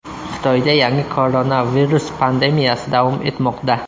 Xitoyda yangi koronavirus pandemiyasi davom etmoqda.